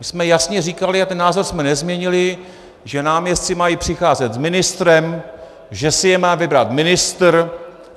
My jsme jasně říkali, a ten názor jsme nezměnili, že náměstci mají přicházet s ministrem, že si je má vybrat ministr.